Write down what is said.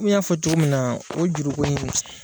I y'a fɔ cogo min na o juruko in